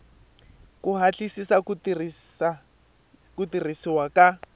ku hatlisisa ku tirhisiwa ka